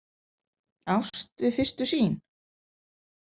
Ást við fyrstu sýn?